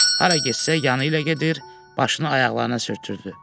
Hara getsə yanı ilə gedir, başını ayaqlarına sürtürdü.